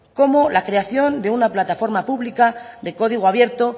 como la creación de una plataforma pública de código abierto